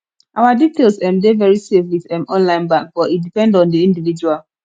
our details um dey very safe with um online bank but e depend on di individual